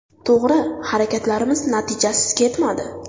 To‘g‘ri, harakatlarimiz natijasiz ketmadi.